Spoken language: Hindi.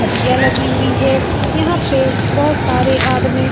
खटियाँ लगी हुई हैं यहाँ पे बहुत सारे आदमी --